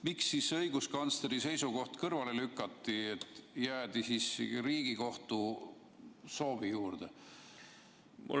" Miks siis õiguskantsleri seisukoht kõrvale lükati ja jäädi Riigikohtu soovi juurde?